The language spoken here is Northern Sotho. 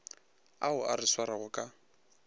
ao a re swarago ka